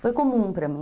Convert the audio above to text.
Foi comum para mim.